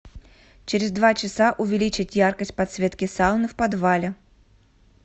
через два часа увеличить яркость подсветки сауны в подвале